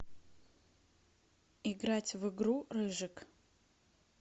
играть в игру рыжик